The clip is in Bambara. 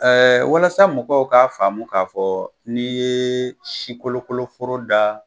Ɛɛ walasa mɔgɔw k'a faamu k'a fɔ ni ye sikolokoloforo da